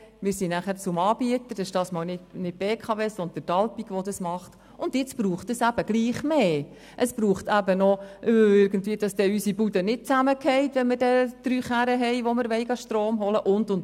Wir gingen anschliessend zum Anbieter, dieses Mal nicht die BKW, sondern Alpiq InTec, und jetzt braucht es trotzdem mehr, damit unsere Bude nicht zusammenfällt, wenn man für drei Autos Strom holen will.